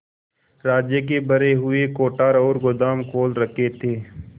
राज्य के भरे हुए कोठार और गोदाम खोल रखे थे